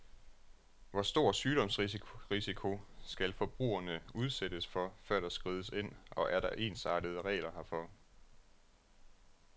Hvor stor sygdomsrisiko skal forbrugerne udsættes for, før der skrides ind, og er der ensartede regler herfor?